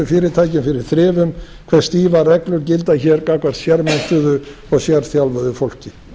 gæðaþjónustufyrirtækjum fyrir þrifum hvað stífar reglur gildi hér gagnvart sérmenntuðu og sérþjálfuðu fólki